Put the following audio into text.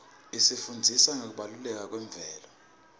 isifundzisa ngekubaluleka kwemvelo